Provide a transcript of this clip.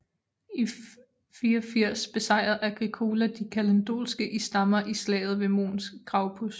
I 84 besejrede Agricola de kaledonske i stammer i slaget ved Mons Graupus